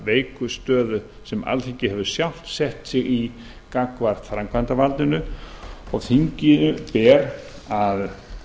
veiku stöðu sem alþingi hefur sjálft sett sig í gagnvart framkvæmdarvaldinu og þinginu ber að